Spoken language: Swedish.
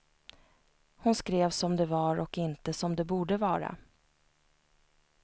Hon skrev som det var och inte som det borde vara.